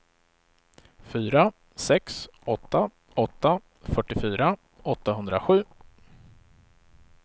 fyra sex åtta åtta fyrtiofyra åttahundrasju